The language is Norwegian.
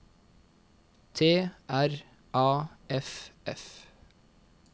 T R A F F